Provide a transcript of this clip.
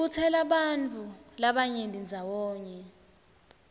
ibutsela bantfu labanyeni ndzawonye